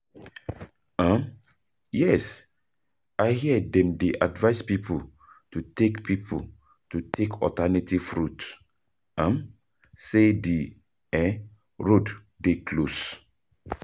um Yes, i hear dem dey advise people to take people to take alternative route, um say di um road dey close.